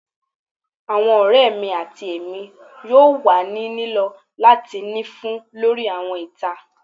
Awọn ọrẹ mi ati Emi yoo wa ni lilọ lati ni fun lori awọn ita